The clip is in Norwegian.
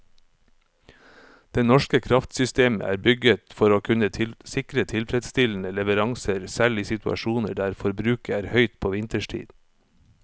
Det norske kraftsystemet er bygget for å kunne sikre tilfredsstillende leveranser selv i situasjoner der forbruket er høyt på vinterstid.